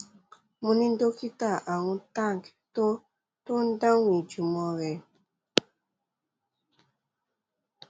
mo ni dokita arun tank tó ń tó ń dáhùn ìjùmọ rẹ